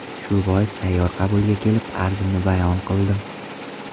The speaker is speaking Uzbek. Shu bois sayyor qabulga kelib, arzimni bayon qildim.